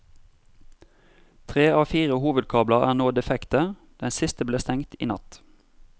Tre av fire hovedkabler er nå defekte, den siste ble stengt i natt.